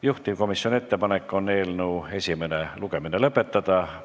Juhtivkomisjoni ettepanek on eelnõu esimene lugemine lõpetada.